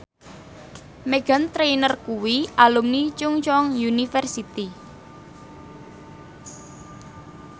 Meghan Trainor kuwi alumni Chungceong University